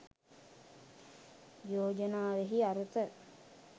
යෝජනාවෙහි අරුත